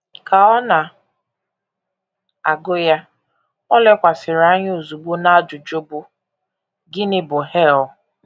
Ka ọ na - agụ ya, o lekwasịrị anya ozugbo n’ajụjụ bụ́: “ Gịnị bụ hel? ”